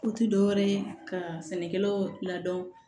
Ko ti dɔwɛrɛ ye ka sɛnɛkɛlaw ladon